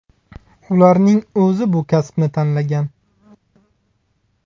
Ularning o‘zi bu kasbni tanlagan.